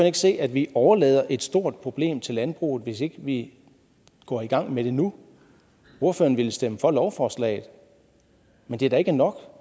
ikke se at vi overlader et stort problem til landbruget hvis ikke vi går i gang med det nu ordføreren vil stemme for lovforslaget men det er da ikke nok